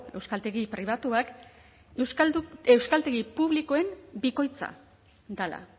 euskaltegi pribatuak euskaltegi publikoen bikoitza dela